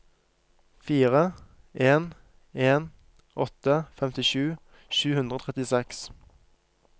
fire en en åtte femtisju sju hundre og trettiseks